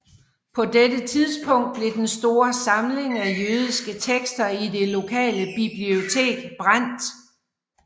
På dette tidspunkt blev den store samling af jødiske tekster i det lokale bibliotek brændt